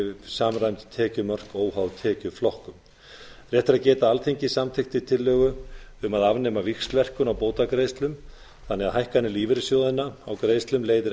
samræmd tekjumörk óháð tekjuflokkum rétt er að geta þess að alþingi samþykkti tillögu um að afnema víxlverkun á bótagreiðslum þannig að hækkanir lífeyrissjóðanna á greiðslum leiða